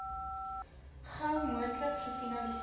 gou moontlik gefinaliseer